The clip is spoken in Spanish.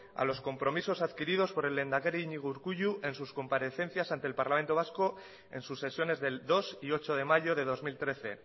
a los compromisos adquiridos por el lehendakari iñigo urkullu en sus comparecencias ante el parlamento vasco en sus sesiones del dos y ocho de mayo de dos mil trece